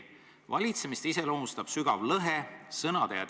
"Valitsemist iseloomustab sügav lõhe tegude ja sõnade vahel.